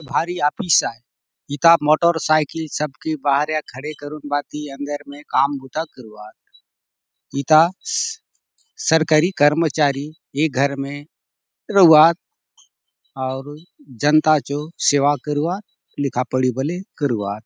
भारी ऑफिस आय इता मोटर सायकिल सबके बाहरया खड़े करून भांति अंदर ने काम बुता करूआत इता इस्स सरकारी कर्मचारी ए घर मे रहुआत अऊर जनता चो सेवा करूआत लिखा पड़ी बले करूआत।